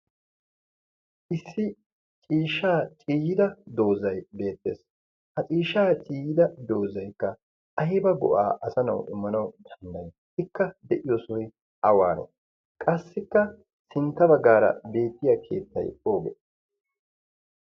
issi ciishaa ciiyida doozai Y beettees ha ciishaa ciyyida doozaikka ayba go'aa asanau immanau tannai ikka de'iyo sohoy awaano qassikka sintta baggaara beettiya keettai ooge